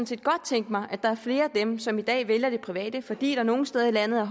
set godt tænke mig at der var flere af dem som i dag vælger det private fordi der nogle steder i landet er